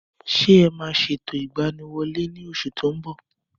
Ṣé ẹ ma ṣètò ìgbaniwọlé ní oṣù tí o nbọ